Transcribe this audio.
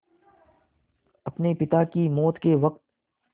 अपने पिता की मौत के वक़्त